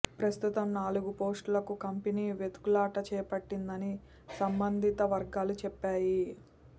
ప్రస్తుతం నాలుగుపోస్టులకు కంపెనీ వెతుకులాట చేపట్టిందని సంబంధిత వర్గాలు చెప్పాయి